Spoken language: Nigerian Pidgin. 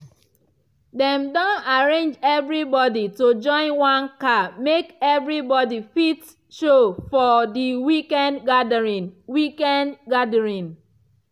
dem don arrange everybody to join one car make everybody fit show for the weekend gathering. weekend gathering.